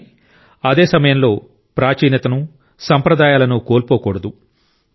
కానీ అదే సమయంలో ప్రాచీనతను సాంప్రదాయాలను కోల్పోకూడదు